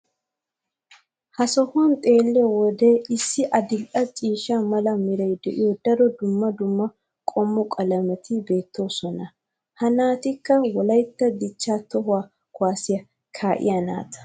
ha sohuwan xeelliyoode issi adil'e ciishsha mala meray de'iyo daro dumma dumma qommo qalametti beetoosona. ha naatikka wolaytta dichaa toho kuwaasiya kaa'iya naata.